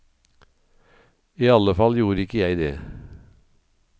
I alle fall gjorde ikke jeg det.